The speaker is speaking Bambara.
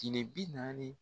Jinɛ bi naani